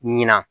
Ɲina